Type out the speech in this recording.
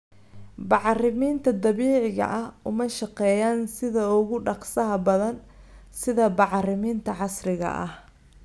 Bacriminta dabiiciga ah uma shaqeeyaan sida ugu dhakhsaha badan sida bacriminta casriga ah.